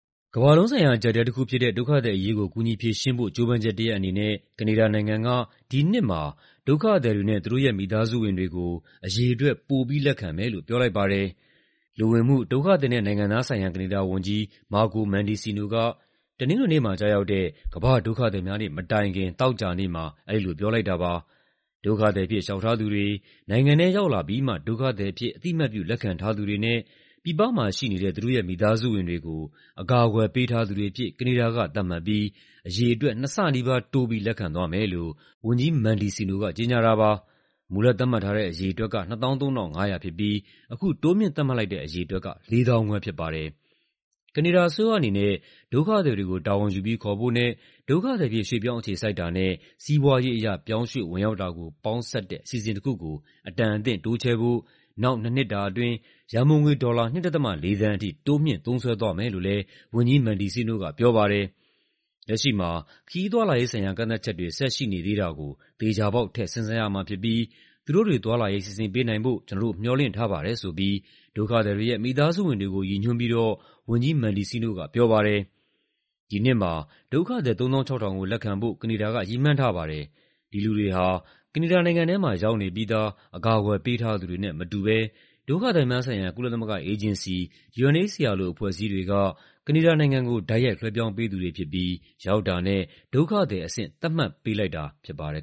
ကမ္ဘာလုံးဆိုင်ရာ အကျပ်အတည်းတခုဖြစ်တဲ့ ဒုက္ခသည်အရေးကို ကူညီဖြေရှင်းဖို့ ကြိုးပမ်းချက်တရပ်အနေနဲ့ ကနေဒါနိုင်ငံက ဒီနှစ်မှာ ဒုက္ခသည်တွေနဲ့ သူတို့ရဲ့ မိသားစုဝင်တွေကို အရေအတွက် ပိုပြီးလက်ခံမယ်လို့ ပြောလိုက်ပါတယ်။ လူဝင်မှု၊ ဒုက္ခသည်နဲ့ နိုင်ငံသားဆိုင်ရာ ကနေဒါဝန်ကြီး Marco Mendicino က တနင်္ဂနွေနေ့မှာ ကျရောက်တဲ့ ကမ္ဘာ့ဒုက္ခသည်များနေ့ မတိုင်ခင် သောကြာနေ့မှာ အဲဒီလို ပြောလိုက်တာပါ။ ဒုက္ခသည်အဖြစ် လျှောက်ထားသူတွေ၊ နိုင်ငံထဲရောက်လာပြီးမှ ဒုက္ခသည်အဖြစ် အသိအမှတ်ပြု လက်ခံထားသူတွေနဲ့ ပြည်ပမှာရှိနေတဲ့ သူတို့ရဲ့ မိသားစုဝင်တွေကို အကာအကွယ် ပေးထားသူတွေအဖြစ် ကနေဒါက သတ်မှတ်ပြီး အရေအတွက် နှစ်ဆနီးပါးတိုးပြီး လက်ခံသွားမယ်လို့ ဝန်ကြီး Mendicino က ကြေညာတာပါ။ မူလသတ်မှတ်ထားတဲ့ အရေအတွက်က ၂၃,၅၀၀ ဖြစ်ပြီး အခုတိုးမြှင့်သတ်မှတ်လိုက်တဲ့ အရေအတွက်က ၄၅,၀၀၀ ဖြစ်ပါတယ်။ ကနေဒါအစိုးရအနေနဲ့ ဒုက္ခသည်တွေကို တာဝန်ယူပြီး ခေါ်ဖို့နဲ့ ဒုက္ခသည်အဖြစ် ရွှေ့ပြောင်းအခြေစိုက်တာနဲ့ စီးပွားရေးအရ ပြောင်းရွှေ့ဝင်ရောက်တာကို ပေါင်းစပ်တဲ့ အစီအစဉ်တခုကို အတန်အသင့်တိုးချဲ့ဖို့ နောက် ၂ နှစ်တာအတွင်း ရန်ပုံငွေ ဒေါ်လာ ၂.၄ သန်းထိ တိုးမြှင့်သုံးစွဲသွားမယ်လို့လည်း ဝန်ကြီး Mendicino က ပြောပါတယ်။ "လက်ရှိမှာ ခရီးသွားလာရေးဆိုင်ရာ ကန့်သတ်ချက်တွေ ဆက်ရှိနေသေးတာကို သေချာပေါက် ထည့်စဉ်းစားရမှာဖြစ်ပြီး သူတို့တွေ သွားလာရေး စီစဉ်ပေးနိုင်ဖို့ ကျနော်တို့ မျှော်လင့်ထားပါတယ်" ဆိုပြီး ဒုက္ခသည်တွေရဲ့ မိသားစုဝင်တွေကို ရည်ညွှန်းပြီးတော့ ဝန်ကြီး Mendicino က ပြောသွားပါတယ်။ ဒီနှစ်မှာ ဒုက္ခသည် ၃၆,၀၀၀ ကို လက်ခံဖို့ ကနေဒါက ရည်မှန်းထားပါတယ်။ ဒီလူတွေဟာ ကနေဒါနိုင်ငံထဲမှာ ရောက်နေပြီးသား အကာအကွယ် ပေးထားသူတွေနဲ့ မတူဘဲ ဒုက္ခသည်များဆိုင်ရာ ကုလသမဂ္ဂအေဂျင်စီ (UNHCR) လို အဖွဲ့အစည်းတွေက ကနေဒါနိုင်ငံကို တိုက်ရိုက်လွှဲပြောင်းပေးသူတွေဖြစ်ပြီး ရောက်တာနဲ့ ဒုက္ခသည်အဆင့် သတ်မှတ်ပေးလိုက်တာ ဖြစ်ပါတယ်